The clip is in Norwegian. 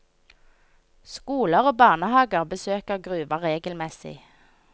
Skoler og barnehager besøker gruva regelmessig.